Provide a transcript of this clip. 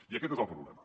i aquest és el problema